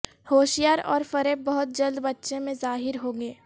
ہوشیار اور فریب بہت جلد بچہ میں ظاہر ہوں گے